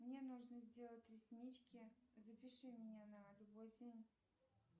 мне нужно сделать реснички запиши меня на любой день